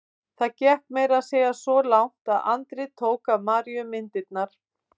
Það gekk meira að segja svo langt að Andri tók af Maríu myndirnar.